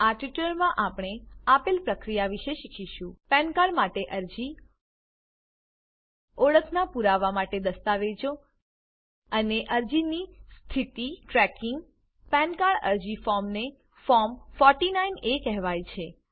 આ ટ્યુટોરીયલમાં આપણે આપેલ પ્રક્રિયા વિશે શીખીશું પાન કાર્ડ પેન કાર્ડ માટે અરજી ઓળખાણનાં પુરાવા માટે દસ્તાવેજો અને અરજીની સ્થિતિ tracking PAN card PAN card અરજી ફોર્મને ફોર્મ 49એ કહેવાય છે